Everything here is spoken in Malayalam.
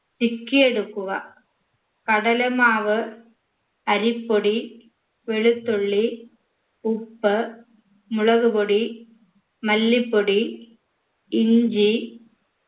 ചിക്കിയെടുക്കുക കടലമാവ് അരിപ്പൊടി വെളുത്തുള്ളി ഉപ്പ് മുളക് പൊടി മല്ലിപ്പൊടി ഇഞ്ചി